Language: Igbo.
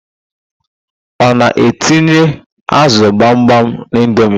Ọ na-etinye ázụ̀ gbamgbam n'indomi?